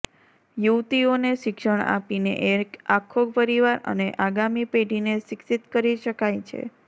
યુવતીઓને શિક્ષણ આપીને એક આખો પરિવાર અને આગામી પેઢીને શિક્ષિત કરી શકાય છે